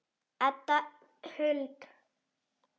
Edda Huld.